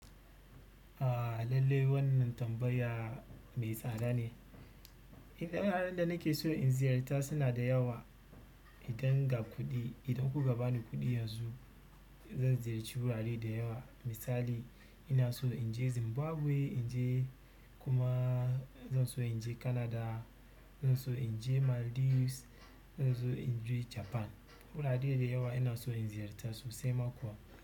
A lallai wannan tambayar mai tsada ne. Inda nake so in ziyarta suna da yawa. Idan ga kuɗi, idan kuka ba ni kuɗi yanzu. Zan ziyarci wurare da yawa. Misali ina so in je Zimbabwe, in je kuma. Zan so in je Canada, zan so in je Maldives, zan so in je Japan. Wurare da yawa ina so in ziyarta sosai ma kuwa.